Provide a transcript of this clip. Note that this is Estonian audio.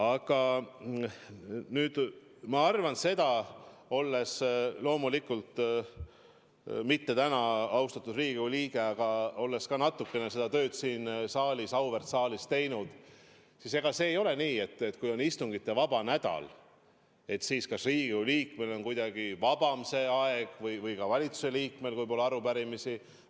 Aga ma arvan, olles loomulikult mitte täna austatud Riigikogu liige, ent olles ka natukene seda tööd siin auväärt kogus teinud, et ega see ei ole nii, et kui on istungivaba nädal, siis Riigikogu liikmel on kuidagi vaba aeg ja ka valitsusliikmel, kui pole arupärimisi.